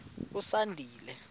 usandile